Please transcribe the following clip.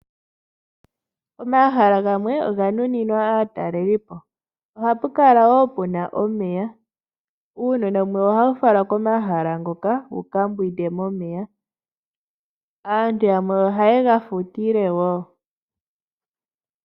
Omahala gamwe oga nuninwa aatalelipo. Oha pu kala woo puna omeya uunona wummwe ohawu falwa komahala ngoka wuka mbwide momeya aantu yamwe oha ye ga futile woo